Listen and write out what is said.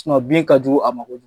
bin ka jugu a ma kojugu.